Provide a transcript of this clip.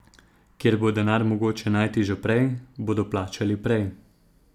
Kjer bo denar mogoče najti že prej, bodo plačali prej.